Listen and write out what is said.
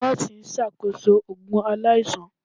Nọọsi n ṣakoso oogun alaisan.